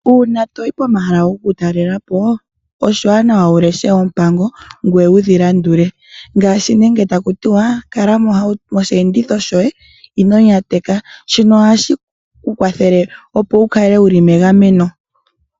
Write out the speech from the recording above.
Uuna toyi pomahala gokutalela po oshiwanawa wu leshe oompango ngweye wudhi landule. Ngaashi nenge otaku tiwa kala moshiyenditho shoye, ino nyateka. Shono ohashi ku kwathele opo wu kale wuli megameno.